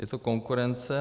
Je to konkurence.